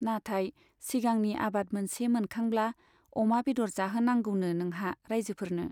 नाथाय सिगांनि आबाद मोनसे मोनखांब्ला अमा बेदर जाहोनांगौनो नोंहा राइजोफोरनो।